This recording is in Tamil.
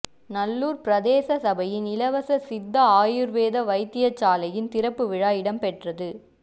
நல்லூர் பிரதேச சபையின் இலவச சித்த ஆயுள் வேத வைத்தியசாலையின் திறப்பு விழா இடம்பெற்றது